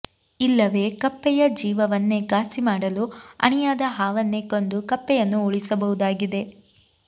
ಇಲ್ಲವೆ ಕಪ್ಪೆಯ ಜೀವವನ್ನೇ ಗಾಸಿಮಾಡಲು ಅಣಿಯಾದ ಹಾವನ್ನೇ ಕೊಂದು ಕಪ್ಪೆಯನ್ನು ಉಳಿಸಬಹುದಾಗಿದೆ